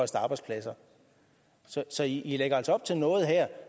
så i lægger altså op til noget her